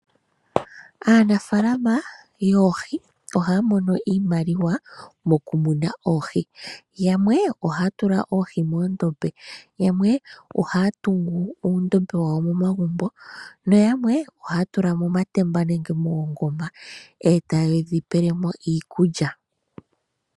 Aanafalama yoohi ohaya mono iimaliwa mokumuna oohi, yamwe ohaya tula oohi moondombe, yamwe ohaya tungu uundombe wawo momagumbo noyamwe ohaya tula momatemba nenge moongoma eta ye dhi pele mo iikulya.